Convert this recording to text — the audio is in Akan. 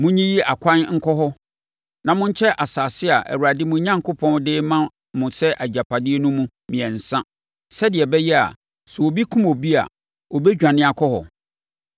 Monyiyi akwan nkɔ hɔ na monkyɛ asase a Awurade, mo Onyankopɔn, de rema mo sɛ agyapadeɛ no mu mmiɛnsa sɛdeɛ ɛbɛyɛ a, sɛ obi kum obi a, ɔbɛdwane akɔ hɔ.